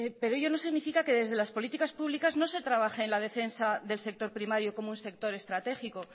pero ello no significa que desde las políticas públicas no se trabaje en la defensa del sector primario como un sector estratégico